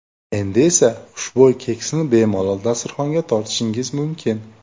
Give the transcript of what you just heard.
Endi esa xushbo‘y keksni bemalol dasturxonga tortishingiz mumkin.